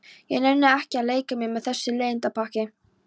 Ég nenni ekki að leika mér með þessu leiðindapakki.